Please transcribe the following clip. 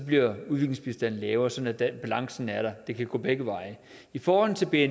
bliver udviklingsbistanden lavere sådan at balancen er der det kan gå begge veje i forhold til bni er